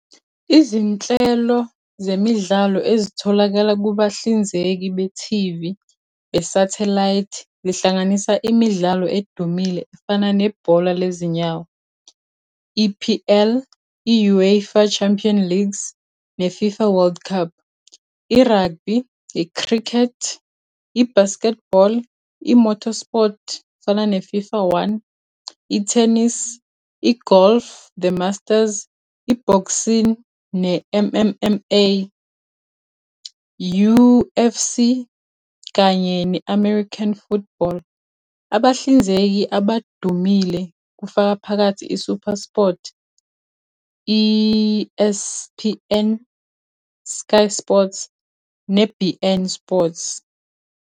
Izinhlelo zemidlalo ezitholakala kubahlinzeki be-T_V be-satellite zihlanganisa imidlalo edumile efana nebhola lezinyawo i-P_L, i-UEFA Champion Leagues ne-FIFA World Cup. I-rugby, i-cricket, i-basketball, i-motor sport, fana ne-FIFA one. I-tennis, i-golf The Masters, i-boxing, ne-M_M_M_A, U_F_C kanye ne-American football. Abahlinzeki abadumile kufaka phakathi i-SuperSport, E_S_P_N, Sky Sports ne-B_N Sports.